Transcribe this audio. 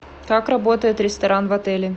как работает ресторан в отеле